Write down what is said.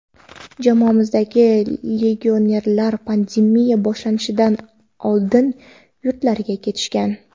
Jamoamizdagi legionerlar pandemiya boshlanishidan oldin yurtlariga ketishgan.